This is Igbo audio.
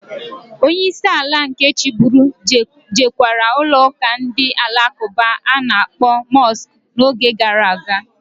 Onye isi ala nke chiburu jekwara ụlọụka ndị Alakụba a na-akpọ Mọsk n'oge gara aga.